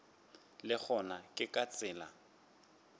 le gona ke ka tsela